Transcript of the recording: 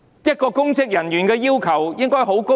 對公職人員的要求應該很高。